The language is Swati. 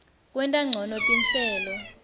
kwenta ncono tinhlelo